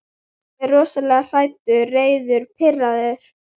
Ég er rosalega hræddur, reiður, pirraður.